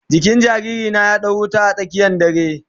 Jikin jariri na ya dau wuta a tsakiyan dare.